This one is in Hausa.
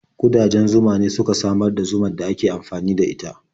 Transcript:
Ƙudajen zuma ne suke samar da zumar da ake amfani da ita.